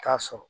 T'a sɔrɔ